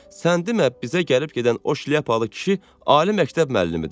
Səninləmə bizə gəlib-gedən o şlyapalı kişi ali məktəb müəllimidir.